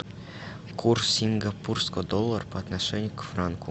курс сингапурского доллара по отношению к франку